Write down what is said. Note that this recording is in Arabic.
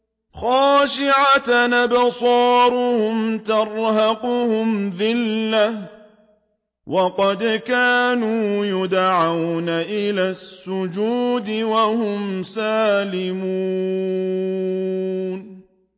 خَاشِعَةً أَبْصَارُهُمْ تَرْهَقُهُمْ ذِلَّةٌ ۖ وَقَدْ كَانُوا يُدْعَوْنَ إِلَى السُّجُودِ وَهُمْ سَالِمُونَ